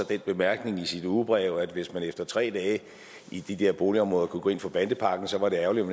bemærkning i sit ugebrev at hvis man efter tre dage i de der boligområder kunne gå ind for bandepakken så var det ærgerligt